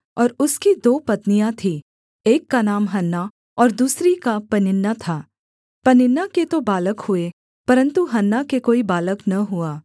और उसकी दो पत्नियाँ थीं एक का नाम हन्ना और दूसरी का पनिन्ना था पनिन्ना के तो बालक हुए परन्तु हन्ना के कोई बालक न हुआ